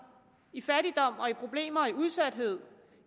i fattigdom og i problemer og i udsathed